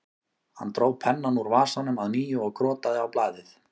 Hann dró pennann úr vasanum að nýju og krotaði á blaðið